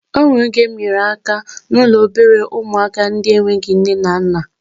O nwere oge mụ nyere aka n'ụlọ obere ụmụaka ndị na-enweghị nne na nna